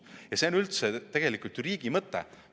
Ja see on üldse tegelikult riigi mõte.